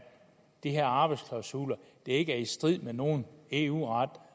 de her arbejdsklausuler ikke er i strid med nogen eu ret